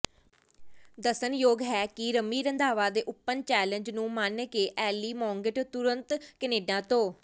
ਦੱਸਣਯੋਗ ਹੈ ਕਿ ਰੰਮੀ ਰੰਧਾਵਾ ਦੇ ਉਪਨ ਚੈਲੇਂਜ ਨੂੰ ਮੰਨ ਕੇ ਐਲੀਮਾਂਗਟ ਤੁਰੰਤ ਕਨੇਡਾ ਤੋਂ